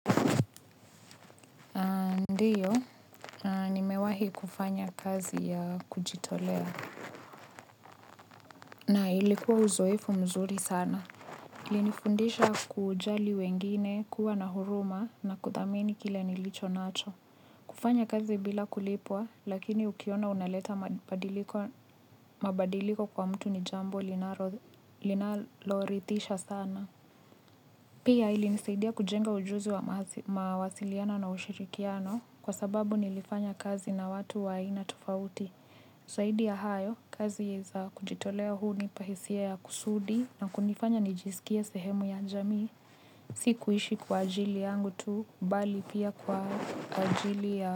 Ndiyo, nimewahi kufanya kazi ya kujitolea na ilikuwa uzoefu mzuri sana. Ilinifundisha kujali wengine, kuwa na huruma na kuthamini kile nilicho nacho. Kufanya kazi bila kulipwa lakini ukiona unaleta mabadiliko kwa mtu ni jambo linaloridhisha sana. Pia ilinisaidia kujenga ujuzi wa mawasiliano na ushirikiano kwa sababu nilifanya kazi na watu wa aina tofauti. Zaidi ya hayo kazi za kujitolea hunipa hisia ya kusudi na kunifanya nijisikie sehemu ya jamii. Si kuishi kwa ajili yangu tu bali pia kwa ajili ya.